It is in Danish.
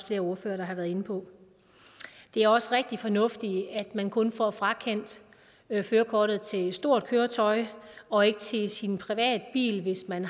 flere ordførere har været inde på det er også rigtig fornuftigt at man kun får frakendt kørekortet til stort køretøj og ikke til sin private bil hvis man